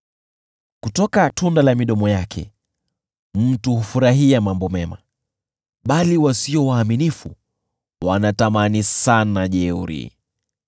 Kutoka tunda la midomo yake mtu hufurahia mambo mema, bali wasio waaminifu wanatamani sana jeuri.